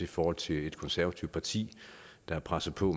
forhold til et konservativt parti der har presset på